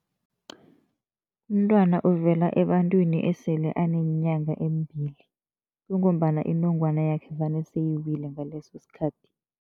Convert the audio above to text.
Umntwana uvela ebantwini esele aneenyanga embili kungombana inongwana yakhe vane seyiwile ngaleso sikhathi.